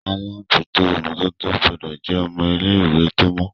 àlabòjuto imototo gbódò jé ọmọ ilé ìwé tó mọ